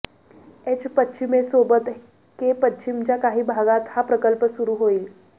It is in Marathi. एच पश्चिमसोबत के पश्चिमच्या काही भागात हा प्रकल्प सुरू होईल